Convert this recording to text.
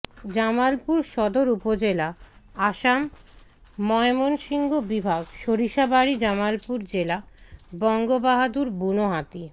জামালপুর সদর উপজেলা আসাম ময়মনসিংহ বিভাগ সরিষাবাড়ি জামালপুর জেলা বঙ্গবাহাদুর বুনো হাতি